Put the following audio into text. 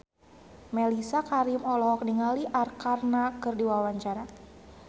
Mellisa Karim olohok ningali Arkarna keur diwawancara